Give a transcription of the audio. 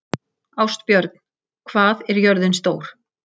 Ástbjörn, hvað er jörðin stór?